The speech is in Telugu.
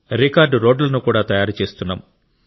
రికార్డ్ రోడ్లను కూడా తయారు చేస్తున్నాం